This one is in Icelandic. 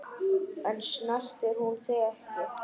En snertir hún þig ekki?